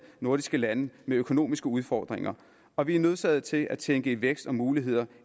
nordiske lande med økonomiske udfordringer og vi er nødsaget til at tænke i vækst og muligheder